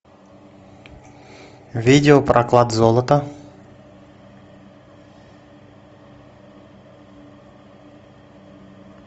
видео про клад золото